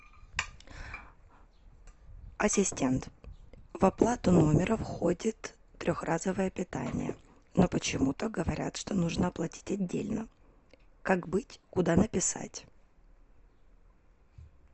ассистент в оплату номера входит трехразовое питание но почему то говорят что нужно оплатить отдельно как быть куда написать